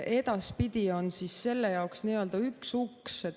Edaspidi on selle jaoks üks uks.